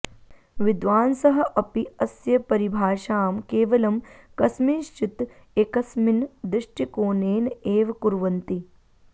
विद्वांसः अपि अस्य परिभाषां केवलं कस्मिंश्चित् एकस्मिन् दृष्टिकोणेन एव कुर्वन्ति